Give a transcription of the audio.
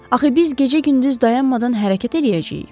Axı biz gecə-gündüz dayanmadan hərəkət eləyəcəyik.